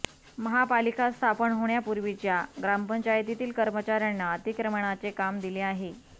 महापालिका स्थापन होण्यापूर्वीच्या ग्रामपंचायतीतील कर्मचाऱ्यांना अतिक्रमणाचे काम दिले आहे